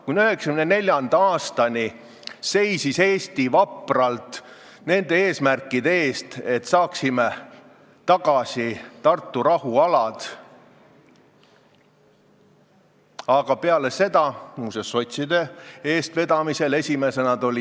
Kuni 1994. aastani seisis Eesti vapralt selle eest, et saaksime tagasi Tartu rahulepingust tulenevad alad, aga peale seda, muuseas, sotside eestvedamisel, kõik muutus.